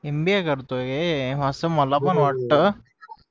MBA करतोय असं मला पण वाटतं